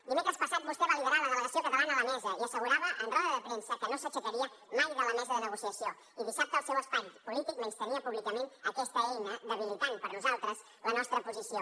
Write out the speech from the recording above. dimecres passat vostè va liderar la delegació catalana a la mesa i assegurava en roda de premsa que no s’aixecaria mai de la mesa de negociació i dissabte el seu espai polític menystenia públicament aquesta eina debilitant per nosaltres la nostra posició